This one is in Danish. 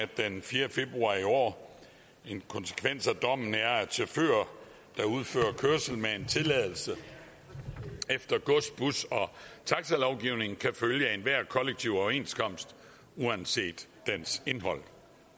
den fjerde februar i år en konsekvens af dommen er at chauffører der udfører kørsel med en tilladelse efter gods bus og taxalovgivningen kan følge enhver kollektiv overenskomst uanset dens indhold